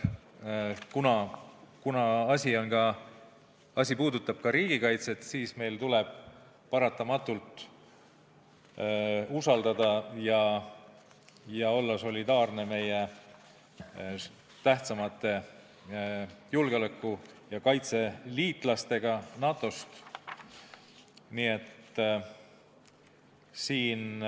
Kuna asi puudutab ka riigikaitset, siis tuleb meil paratamatult usaldada oma tähtsamaid julgeoleku ja kaitsevaldkonna liitlasi NATO-st ning olla nendega solidaarne.